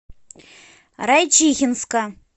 райчихинска